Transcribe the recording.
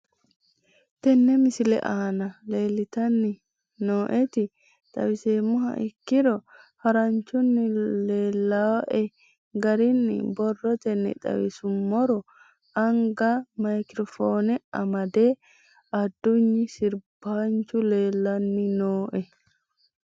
Tinni misete aana leltani nooeti xawiseemoha ikkiro haranchunni leelawoe garinni borootenni xawisumorro anga micro phone amade adunyi sirbanchu leelanni nooe